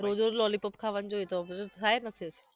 રોજ રોજ લોલીપોપ ખાવાને જોઈ તો અપચો થાય જ ને પછી